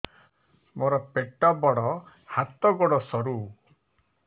ମୋର ପେଟ ବଡ ହାତ ଗୋଡ ସରୁ